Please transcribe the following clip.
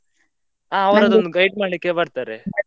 ಹಾ guide ಮಾಡ್ಲಿಕೆ ಬರ್ತಾರೆ.